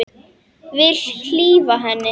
Vil hlífa henni.